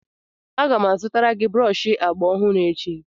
Aga m azụtara gị brọọshị agba ọhụrụ echi